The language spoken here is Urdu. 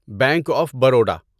bank of Baroda